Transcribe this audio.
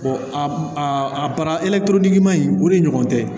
a man ɲi o de ɲɔgɔn tɛ